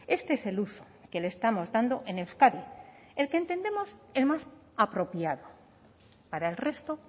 este es el uso que le estamos dando en euskadi el que entendemos el más apropiado para el resto